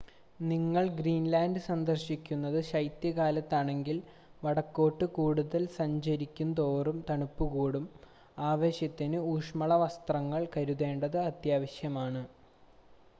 നിങ്ങൾ ഗ്രീൻലാൻഡ് സന്ദർശിക്കുന്നത് ശൈത്യകാലത്താണെങ്കിൽ വടക്കോട്ട് കൂടുതൽ സഞ്ചാരിക്കുംതോറും തണുപ്പ് കൂടും ആവശ്യത്തിന് ഊഷ്മള വസ്ത്രങ്ങൾ കരുതേണ്ടത് അത്യാവശ്യമാണ്